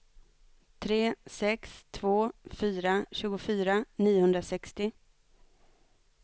tre sex två fyra tjugofyra niohundrasextio